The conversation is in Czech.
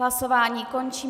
Hlasování končím.